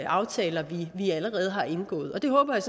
aftaler vi allerede har indgået det håber jeg